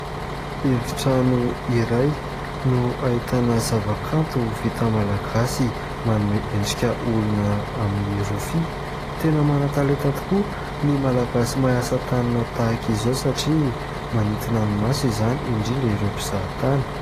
Efi-trano iray no ahitana zava-kanto vita malagasy. Manome endrika olona amin'ny rofia. Tena manan-talenta tokoa ny malagasy mahay asa tanana tahaka izao satria manintona ny maso izany indrindra ireo mpizaha tany.